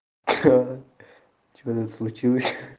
ха-ха что нибудь случилось